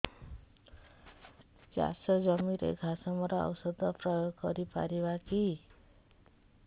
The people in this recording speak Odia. ଚାଷ ଜମିରେ ଘାସ ମରା ଔଷଧ ପ୍ରୟୋଗ କରି ପାରିବା କି